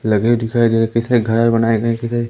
luggage दिखाई दे किसने घर बनाए गए